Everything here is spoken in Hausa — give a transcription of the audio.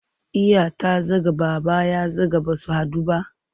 Iya ta zaga, Baba ya zaga ba su haɗu ba?